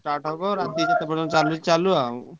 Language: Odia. Start ହବ ରାତି ଯେତେ ପର୍ଯ୍ୟନ୍ତ ଚାଲୁଛି ଚାଲୁ ଆଉ।